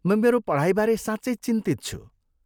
म मेरो पढाइबारे साँच्चै चिन्तित छु।